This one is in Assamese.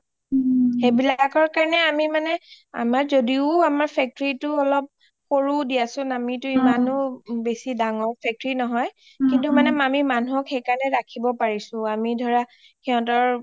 সেইবিলাকৰ কাৰণে আমি মানে আমাৰ যদিও আমাৰ factory টো অলপ সৰু দিয়া চোন আমিটো ইমানয়ো বেচি ডাঙৰ factory নহই কিন্তু মানে আমি মানুহক সেইকাৰণে ৰাখিব পাৰিচো আমি ধৰা সিহঁতৰ